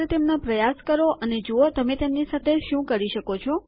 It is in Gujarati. માત્ર તેમનો પ્રયાસ કરો અને જુઓ તમે તેમની સાથે શું કરી શકો છો